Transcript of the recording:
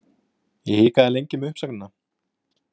Ég hikaði lengi með uppsögnina.